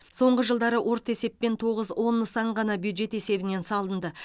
соңғы жылдары орта есеппен тоғыз он нысан ғана бюджет есебінен салынды